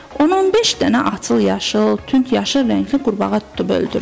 On beş dənə açıq yaşıl, tünd yaşıl rəngli qurbağa tutub öldürürlər.